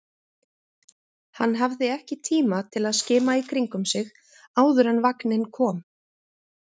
Hann hafði ekki tíma til að skima í kringum sig áður en vagninn kom.